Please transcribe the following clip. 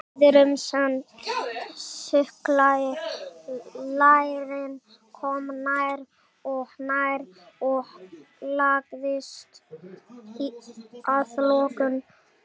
Maðurinn sem þuklaði lærin kom nær og nær og lagðist að lokum oná hana.